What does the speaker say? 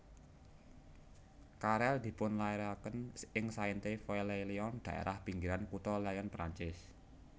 Carrel dipunlairaken ing Sainte Foy les Lyon daérah pinggiran kutha Lyon Perancis